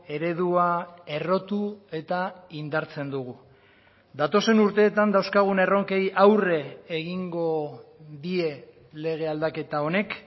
eredua errotu eta indartzen dugu datozen urteetan dauzkagun erronkei aurre egingo die lege aldaketa honek